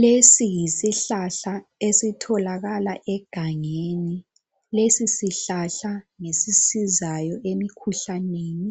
Lesi yisihlahla esitholakala egangeni lesi sihlahla ngesisizayo emikhuhlaneni